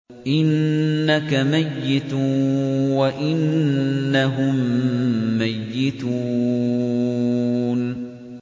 إِنَّكَ مَيِّتٌ وَإِنَّهُم مَّيِّتُونَ